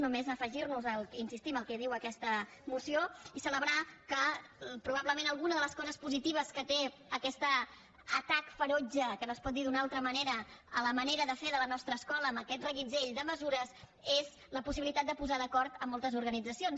només afegir nos hi insistim al que diu aquesta moció i celebrar que probablement alguna de les coses positives que té aquest atac ferotge que no es pot dir d’una altra manera a la manera de fer de la nostra escola amb aquest reguitzell de mesures és la possibilitat de posar d’acord moltes organitzacions